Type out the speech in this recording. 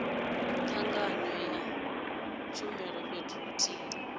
tanganywa ha tshumelo fhethu huthihi